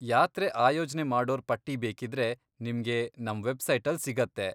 ಯಾತ್ರೆ ಆಯೋಜ್ನೆ ಮಾಡೋರ್ ಪಟ್ಟಿ ಬೇಕಿದ್ರೆ ನಿಮ್ಗೆ ನಮ್ ವೆಬ್ಸೈಟಲ್ ಸಿಗತ್ತೆ.